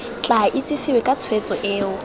tla itsesewe ka tshwetso eo